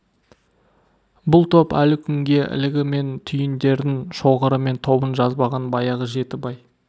бұл топ әлі күнге ілігі мен түйіндерін шоғыры мен тобын жазбаған баяғы жеті бай